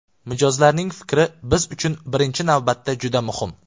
Mijozlarning fikri biz uchun birinchi navbatda juda muhim.